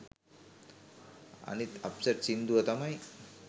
අනිත් අප්සට් සිංදුව තමයි